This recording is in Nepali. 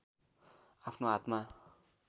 आफ्नो हातमा